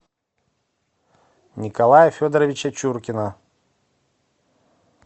николая федоровича чуркина